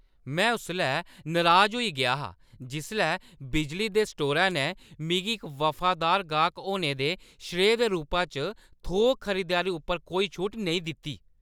में उसलै नराज होई गेआ हा जिसलै बिजली दे स्टोरै ने मिगी इक वफादार गाह्क होने दे श्रेऽ दे रूपै च थोक खरीदारी उप्पर कोई छूट नेईं दित्ती।